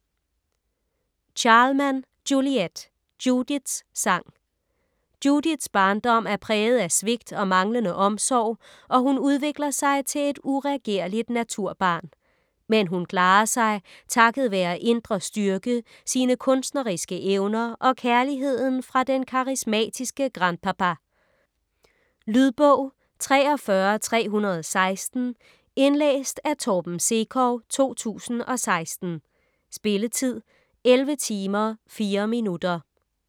Charleman, Juliette: Judiths sang Judiths barndom er præget af svigt og manglende omsorg, og hun udvikler sig til et uregerligt naturbarn. Men hun klarer sig takket være indre styrke, sine kunstneriske evner og kærligheden fra den karismatiske grand-papa. Lydbog 43316 Indlæst af Torben Sekov, 2016. Spilletid: 11 timer, 4 minutter.